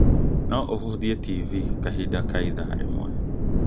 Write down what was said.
No ũhũthie TV kahinda kaa ithaa rĩmwe